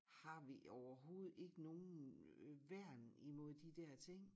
Har vi overhovedet ikke nogen øh værn imod de dér ting